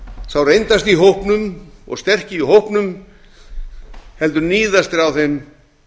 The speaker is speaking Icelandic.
sá reyndasti í hópnum og sterki í hópnum heldur níðast þeir á þeim